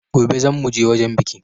Gobe zan mu je wajan bikin.